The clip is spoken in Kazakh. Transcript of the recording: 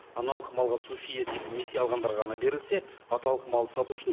аналық малға субсидия тек несие алғандарға ғана берілсе аталық малды сату үшін